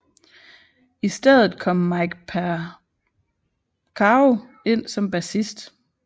I stedet kom Mike Porcaro ind som bassist